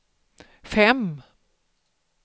fem